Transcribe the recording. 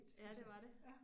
Ja, det var det